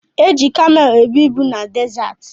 Eji kamelu ebu ibu na dezaati.